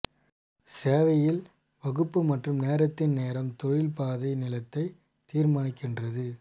சேவையில் வகுப்பு மற்றும் நேரத்தின் நேரம் தொழில் பாதை நீளத்தை தீர்மானிக்கிறது